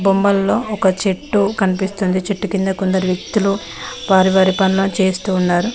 బొమ్మల్లో ఒక చెట్టు కనిపిస్తుంది చెట్టుకింద కొందరు వ్యక్తులు వారి వారి పనులను చేస్తూ ఉన్నారు.